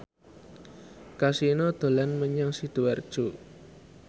Kasino dolan menyang Sidoarjo